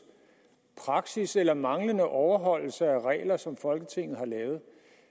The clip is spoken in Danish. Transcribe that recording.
praksis eller manglende overholdelse af regler som folketinget har lavet